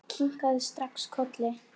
Ég kinkaði strax kolli.